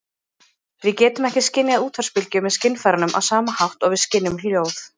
Við getum ekki skynjað útvarpsbylgjur með skynfærunum á sama hátt og við skynjum hljóð.